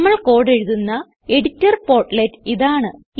നമ്മൾ കോഡ് എഴുതുന്ന editor portlet ഇതാണ്